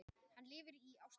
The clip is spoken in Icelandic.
Hann lifir í Ástralíu.